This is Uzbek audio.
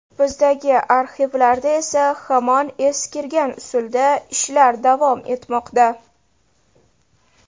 Bizdagi arxivlarda esa hamon eskirgan usulda ishlar davom etmoqda.